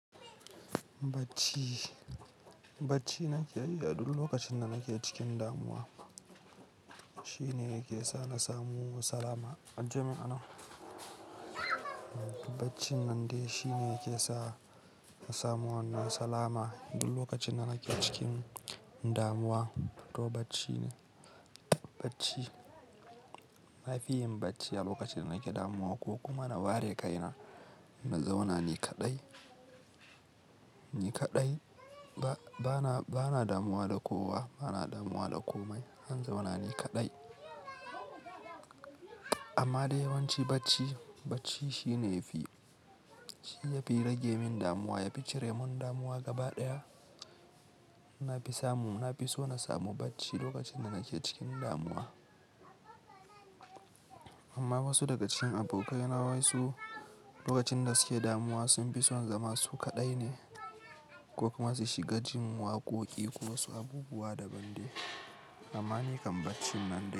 Bacci, bacci nake yi a duk lokacin da nake cikin damuwa. Shi ne yake sa na samu salama. Ajiye mun a nan. Baccin nan dai shi ne yake sa na samu wannan salama duk lokacin da nake cikin damuwa. To bacci ne, bacci. Na fi yin bacci a lokacin da nake damuwa ko kuma na ware kaina na zauna nikaɗai, nikaɗai. Bana, bana damuwa da kowa, bana damuwa da komai. Han zauna nikaɗai. Amma dai yawanci bacci, bacci shi ne yafi, shi yafi rage min damuwa, yafi cire mun damuwa gaba ɗaya. Na fi samu, na fi so na samu bacci lokacin da nake cikin damuwa. Amma wasu daga cikin abokaina wasu lokacin da suke damuwa sun fi son zama su kaɗai ne ko kuma su shiga jin waƙoƙi ko wasu abubuwa daban dai. Amma ni kan bacci nan dai.